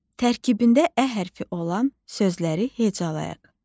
Tərkibində ə hərfi olan sözləri hecalayaq.